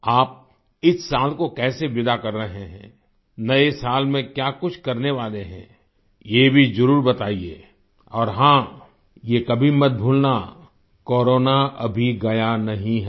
आप इस साल को कैसे विदा कर रहे हैं नए साल में क्या कुछ करने वाले हैं ये भी जरुर बताइये और हाँ ये कभी मत भूलना कोरोना अभी गया नहीं है